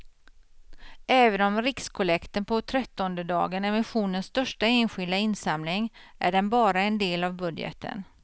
Även om rikskollekten på trettondedagen är missionens största enskilda insamling är den bara en del av budgeten.